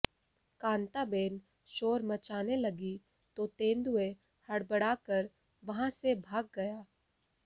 कांताबेन शोर मचाने लगी तो तेंदुए हड़बड़ाकर वहां से भाग गया